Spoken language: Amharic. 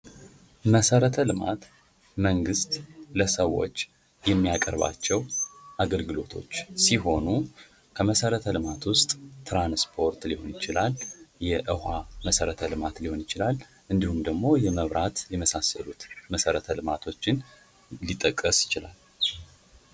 መሰረተ ልማት መንግስት ለሰዎች የሚያቀርባቸዉ አገልግሎቶች ሲሆኑ ከመሰረተ ልማት ዉስጥ ትራንስፖርት ሊሆን ይችላል። የዉኃ መሰረተ ልማት ሊሆን ይችላል። እንዲሁም ደግሞ የመብራቴ የመሳሰሉት መሰረተ ልማቶችን ሊጠቀስ ይችላል።